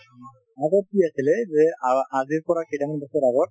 আগত কি আছিলে যে আ আজিৰ পৰা কেইটামান বছৰ আগত,